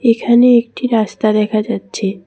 এখানে একটি রাস্তা দেখা যাচ্ছে।